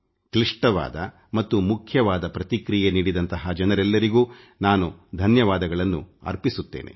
ಮಹತ್ವವಾದ ಮತ್ತು ಪ್ರಮುಖವಾದ ಪ್ರತಿಕ್ರಿಯೆ ನೀಡಿದಂಥ ಜನರೆಲ್ಲರಿಗೂ ನಾನು ಧನ್ಯವಾದಗಳನ್ನು ಅರ್ಪಿಸುತ್ತೇನೆ